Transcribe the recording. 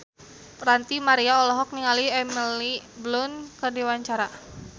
Ranty Maria olohok ningali Emily Blunt keur diwawancara